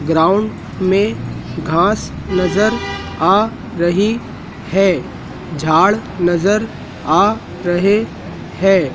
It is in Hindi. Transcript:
ग्राउंड में घास नजर आ रही है झाड़ नजर आ रहे हैं।